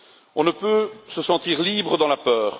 On ne peut se sentir libre dans la peur.